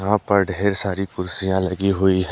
यहां पर ढेर सारी कुर्सियां लगी हुई है।